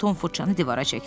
Tom fırçanı divara çəkdi.